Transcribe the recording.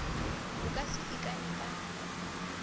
o ka se ikane ka